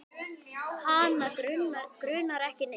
Hana grunar ekki neitt.